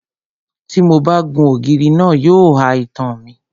Tí mo bá gun ògiri náà, yóò ha itan mi.